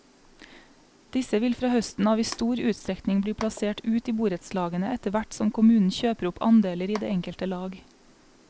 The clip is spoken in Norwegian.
Disse vil fra høsten av i stor utstrekning bli plassert ut i borettslagene etterhvert som kommunen kjøper opp andeler i det enkelte lag.